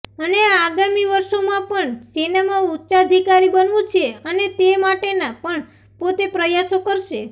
અને આગામી વર્ષોમાં પણ સેનામાં ઉચ્ચાધિકારી બનવું છે અને તે માટેના પણ પોતે પ્રયાસો કરશે